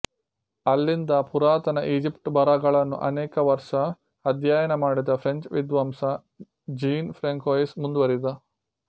ಅಲ್ಲಿಂದ ಪುರಾತನ ಈಜಿಪ್ಟ ಬರಹಗಳನ್ನು ಅನೇಕ ವರ್ಷ ಅಧ್ಯಯನ ಮಾಡಿದ ಫ್ರೆಂಚ್ ವಿದ್ವಾಂಸ ಜೀನ್ ಫ್ರಾಂಕೊಯಿಸ್ ಮುಂದುವರಿದ